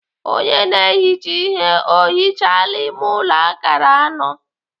Onye na-ehicha ihe ọ hichaala ime ụlọ akara anọ?